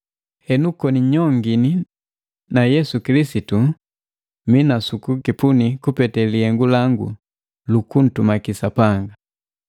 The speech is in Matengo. Henu koni nyongini na Yesu Kilisitu mii na sukukipuni kupete lihengu langu lukuntumaki Sapanga.